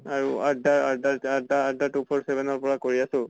আৰু two point seven ৰ পৰা কৰি আছো ।